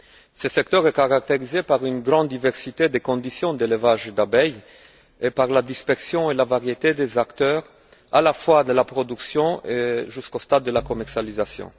Ce secteur est caractérisé par une grande diversité des conditions d'élevage des abeilles et par la dispersion et la variété des acteurs de la production jusqu'au stade de la commercialisation.